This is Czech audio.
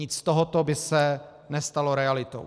Nic z tohoto by se nestalo realitou.